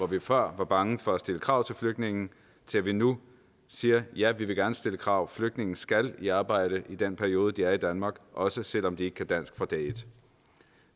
vi før var bange for at stille krav til flygtninge til at vi nu siger ja vi vil gerne stille krav flygtninge skal i arbejde i den periode de er i danmark også selv om de ikke kan dansk fra dag et